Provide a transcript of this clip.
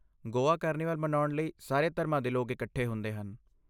Goa carnival ਮਨਾਉਣ ਲਈ ਸਾਰੇ ਧਰਮਾਂ ਦੇ ਲੋਕ ਇਕੱਠੇ ਹੁੰਦੇ ਹਨ।